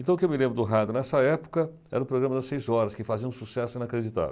Então o que eu me lembro do rádio nessa época era o programa das seis horas, que fazia um sucesso inacreditável.